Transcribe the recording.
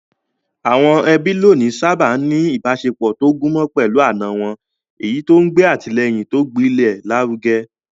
Àwọn ẹbí lónìí sáábà ń ní ìbáṣepọ̀ tó gúnmọ́ pẹ̀lú àna wọn, èyí tó ń gbé àtìlẹ́yìn tó gbilẹ̀ lárugẹ.